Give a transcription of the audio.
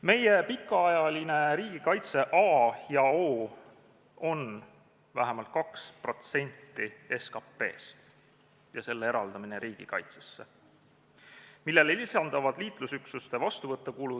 Meie pikaajaline riigikaitse A ja O on vähemalt 2% SKP-st eraldamine riigikaitsesse, millele lisanduvad liitlasüksuste vastuvõtukulud.